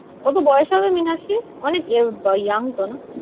কত বয়স হবে মীনাক্ষীর? অনেক young তো না?